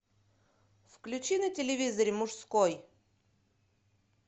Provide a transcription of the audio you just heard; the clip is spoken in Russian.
включи на телевизоре мужской